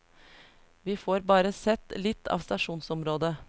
Vi får bare sett litt av stasjonsområdet.